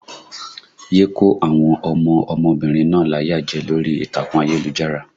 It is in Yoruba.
Yé kó àwọn ọmọ ọmọbìnrin náà láyà jẹ lórí ìtàkùn ayélujára!